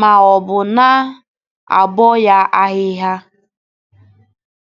maọbụ na - abọ ya ahịhịa.